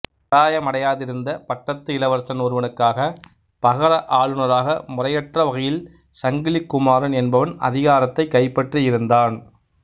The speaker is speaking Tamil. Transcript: பராயமடையாதிருந்த பட்டத்து இளவரசன் ஒருவனுக்காகப் பகர ஆளுனராக முறையற்ற வகையில் சங்கிலி குமாரன் என்பவன் அதிகாரத்தைக் கைப்பற்றியிருந்தான்